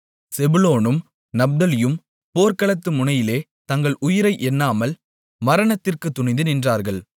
செபுலோனும் நப்தலியும் போர்க்களத்து முனையிலே தங்கள் உயிரை எண்ணாமல் மரணத்திற்குத் துணிந்து நின்றார்கள்